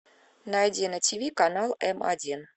найди на тв канал м один